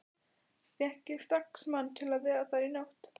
Fékk ég strax mann til að vera þar í nótt.